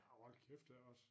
Hold kæft det også